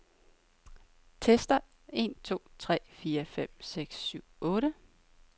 Tester en to tre fire fem seks syv otte.